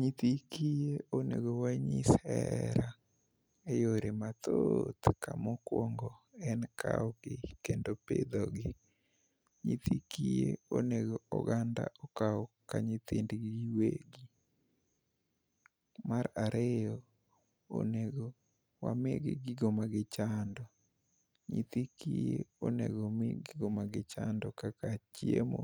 Nyithi kiye onego wanyis hera e yore mathooth. Ka mokwongo en kawogi, kendo pidhogi. Nyithi kiye onego oganda okaw ka nyithindgi giwegi. Mar ariyo, onego wamigi gigo ma gichando. Nyithi kiye onego omi gigo ma gichando, kaka chiemo,